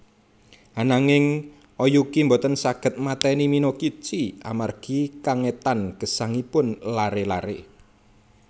Ananging Oyuki boten saged mateni Minokichi amargi kengetan gesangipun laré laré